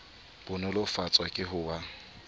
bo nolofatswa ke ho ba